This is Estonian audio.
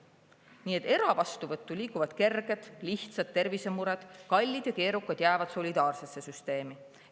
Nii et eravastuvõttu liiguvad kerged, lihtsad tervisemured, kallid ja keerukad jäävad solidaarsesse süsteemi.